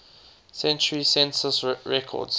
century census records